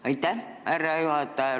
Aitäh, härra juhataja!